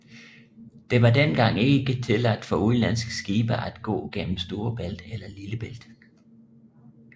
Det var dengang ikke tilladt for udenlandske skibe at gå gennem Storebælt eller Lillebælt